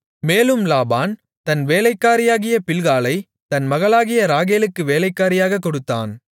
மேலும் லாபான் தன் வேலைக்காரியாகிய பில்காளைத் தன் மகளாகிய ராகேலுக்கு வேலைக்காரியாகக் கொடுத்தான்